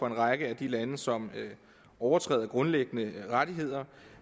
en række af de lande som overtræder grundlæggende rettigheder